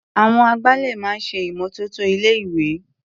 Àwọn agbálẹ̀ máa ń ṣe ìmọ́tótó ilé-ìwé.